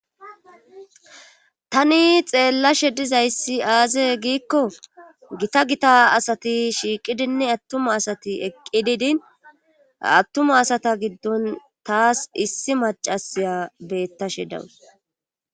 Tani xeellashe dizayssi aaze giikko gita gita asati shiiqidinne attuma asati eqqididin attuma asata giddon taas issi macasiya bettashe dawus.